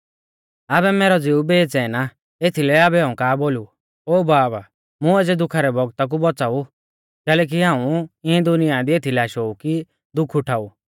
आबै मैरौ ज़िऊ बेचैन आ एथीलै आबै हाऊं का बोलु ओ बाब मुं एज़ै दुखा रै बौगता कु बौच़ाऊ कैलैकि हाऊं इऐं दुनिया दी एथीलै आशौ ऊ कि दुख उठाऊ